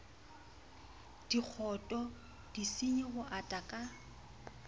dikgoto disenyi ho ata ka